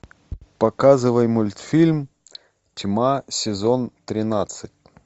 показывай мультфильм тьма сезон тринадцать